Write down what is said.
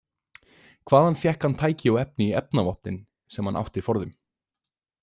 Hvaðan fékk hann tæki og efni í efnavopnin sem hann átti forðum?